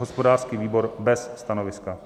Hospodářský výbor: bez stanoviska.